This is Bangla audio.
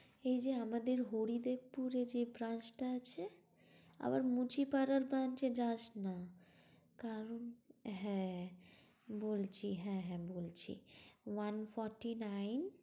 এই যে আমাদের হরিদেবপুরে যে branch টা আছে, আবার মুচিপাড়ার branch এ যাস না। কারণ, হ্যাঁ বলছি হ্যাঁ হ্যাঁ বলছি, one fourty nine